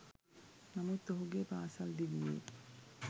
නමුත් ඔහුගේ පාසල් දිවියේ